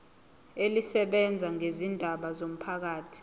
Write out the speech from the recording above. elisebenza ngezindaba zomphakathi